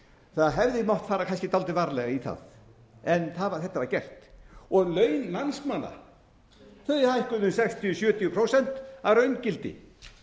það hefði mátt fara kannski dálítið varlega í það en þetta var gert laun landsmanna hækkuðu um sextíu til sjötíu prósent að raungildi